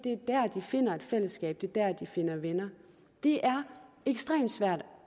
finder et fællesskab det er der de finder venner det er ekstremt svært